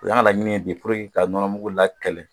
O y'an ka laɲini ye bi ka nɔnɔ mugu la kɛlɛ